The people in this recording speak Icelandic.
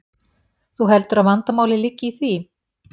Þú heldur að vandamálið liggi í því?